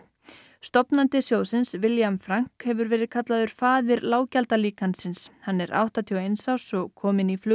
stofnandi sjóðsins William hefur verið kallaður faðir hann er áttatíu og eins árs og kom inn í